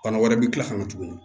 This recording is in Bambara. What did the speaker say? Bana wɛrɛ bɛ kila ka na tuguni